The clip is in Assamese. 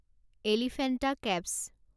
এলিফেণ্টা কেভছ